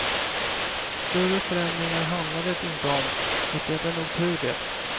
Större förändringar handlar det inte om och det är nog tur det.